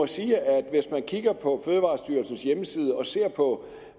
sige at hvis man kigger på fødevarestyrelsens hjemmeside og ser på